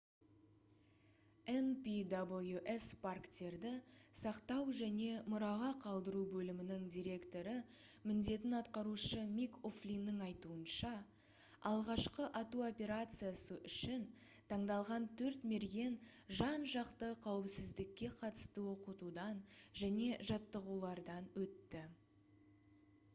npws парктерді сақтау және мұраға қалдыру бөлімінің директоры міндетін атқарушы мик о'флиннің айтуынша алғашқы ату операциясы үшін таңдалған төрт мерген жан-жақты қауіпсіздікке қатысты оқытудан және жаттығулардан өтті